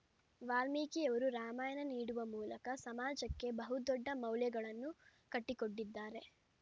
ವಾಲ್ಮೀಕಿಯವರು ರಾಮಾಯಣ ನೀಡುವ ಮೂಲಕ ಸಮಾಜಕ್ಕೆ ಬಹುದೊಡ್ಡ ಮೌಲ್ಯಗಳನ್ನು ಕಟ್ಟಿಕೊಟ್ಟಿದ್ದಾರೆ